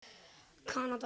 Kanada við.